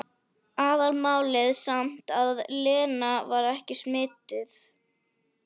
Aðalmálið samt að Lena var ekki smituð.